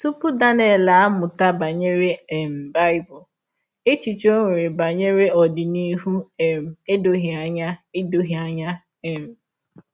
Tupu Daniel amụta banyere um Bible, echiche o nwere banyere ọdịnihu um edoghị anya. edoghị anya. um